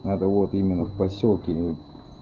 надо вот именно в посёлке